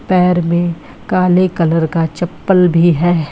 पैर में काले कलर का चप्पल भी है।